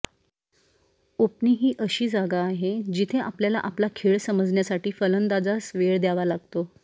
opening ही अशी जागा आहे जिथे आपल्याला आपला खेळ समजण्यासाठी फलंदाजास वेळ द्यावा लागतो